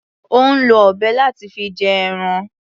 Ò ń lo ọ̀bẹ láti fi gé ẹran.